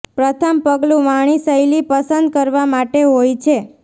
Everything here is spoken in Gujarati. પ્રથમ પગલું વાણી શૈલી પસંદ કરવા માટે હોય છે